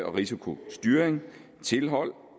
risikostyring tilhold